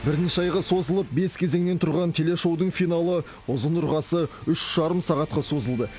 бірнеше айға созылып бес кезеңнен тұрған телешоудың финалы ұзын ырғасы үш жарым сағатқа созылды